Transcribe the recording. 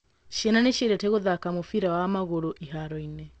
Ciana nĩ ciendete gũthaka mũbira wa magũrũ ĩhaaro-inĩ.